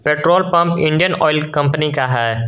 Petrol pump Indian Oil company का है।